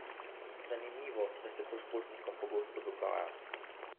Zanimivo, da se to športnikom pogosto dogaja.